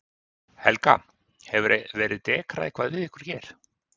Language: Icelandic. Helga: Hefur verið dekrað eitthvað við ykkur hér?